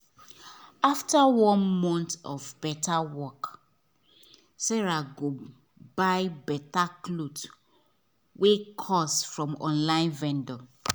after one month of better work sarah go buy better cloth wey cost from online vendor